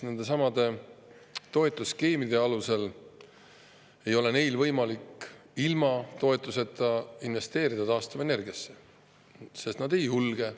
Nendesamade toetusskeemide alusel ei ole neil võimalik ilma toetuseta taastuvenergiasse investeerida, sest nad ei julge.